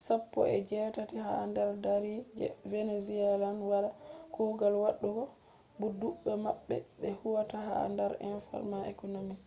sappo e jetati ha dar dari je venezuelans wala kugal wadugo bo dubbe mabbe be huwata ha dar informal economy